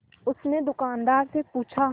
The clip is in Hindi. उसने दुकानदार से पूछा